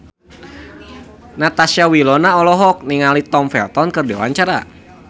Natasha Wilona olohok ningali Tom Felton keur diwawancara